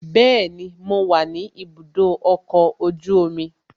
Bẹẹni, mo wa ni ibùdó ọkọ̀ ojú omi